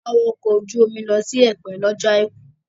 A wọ ọkọ̀ ojú omi lọ sí Ẹ̀pẹ́ lọ́jọ́ àìkú